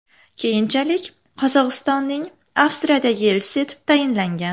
Keyinchalik Qozog‘istonning Avstriyadagi elchisi etib tayinlangan.